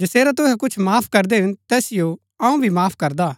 जैसेरा तुहै कुछ माफ करदै हिन तैसिओ अऊँ भी माफ करदा हा